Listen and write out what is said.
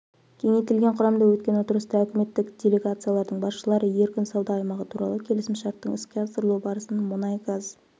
кеңейтілген құрамда өткен отырыста үкіметтік делегациялардың басшылары еркін сауда аймағы туралы келісімшарттың іске асырылу барысын мұнай-газ